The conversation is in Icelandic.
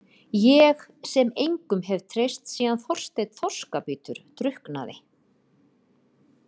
Ég sem engum hef treyst síðan Þorsteinn þorskabítur drukknaði.